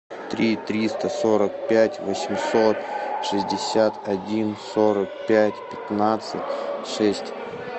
три триста сорок пять восемьсот шестьдесят один сорок пять пятнадцать шесть